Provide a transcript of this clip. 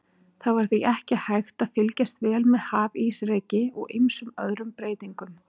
Það var því ekki hægt að fylgjast vel með hafísreki og ýmsum öðrum breytingum.